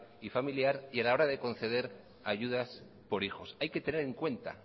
y familiar y a la hora de conceder ayudas por hijos hay que tener en cuenta